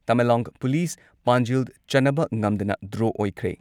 Tamenglong police ꯄꯥꯟꯖꯤꯜ ꯆꯟꯅꯕ ꯉꯝꯗꯅ ꯗ꯭ꯔꯣ ꯑꯣꯏꯈ꯭ꯔꯦ ꯫